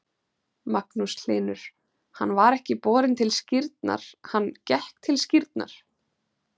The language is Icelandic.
Magnús Hlynur: Hann var ekki borinn til skírnar, hann gekk til skírnar?